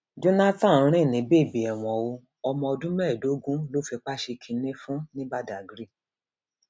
jonathan ń rìn ní bèbè ẹwọn o ọmọ ọdún mẹẹẹdógún ló fipá ṣe kinní fún ní badág